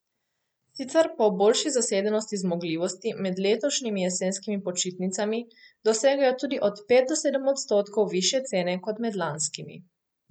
Sicer pa ob boljši zasedenosti zmogljivosti med letošnjimi jesenskimi počitnicami dosegajo tudi od pet do sedem odstotkov višje cene kot med lanskimi.